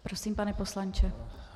Prosím, pane poslanče.